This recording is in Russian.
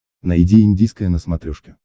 найди индийское на смотрешке